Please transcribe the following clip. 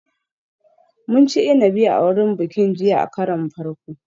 Mun ci inabi a wurin bikin jiya a karon farko